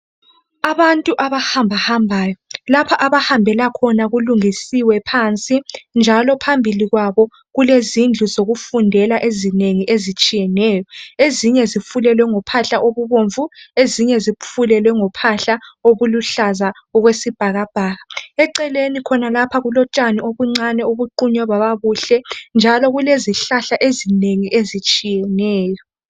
Abantu abahambahambayo. Lapha abahambela khona, kulungisiwe phansi., njalo phambili kwabo kulezindlu zokufundela, ezinengi ezitshiyeneyo. Ezinye zifulelwe ngophahla okubomvu. Ezinye zifulelwe ngophahla, okuluhlaza okwesibhakabhaka. Eceleni khonapha kulotshani, obuncane. Obuqunywe baba buhle, njalo kulezihlahla ezinengi, ezitshiyeneyo.